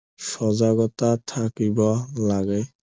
সজাগতা থাকিব লাগে